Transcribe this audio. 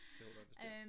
Det håber jeg bestemt